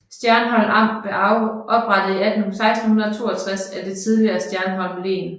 Stjernholm Amt blev oprettet i 1662 af det tidligere Stjernholm Len